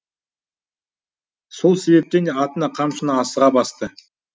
сол себептен де атына қамшыны асыға басты